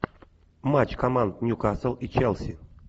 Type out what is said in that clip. матч команд ньюкасл и челси